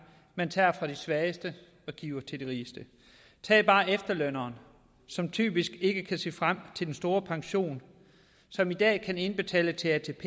man tager fra de svageste og giver til de rigeste tag bare efterlønneren som typisk ikke kan se frem til den store pension som i dag kan indbetale til atp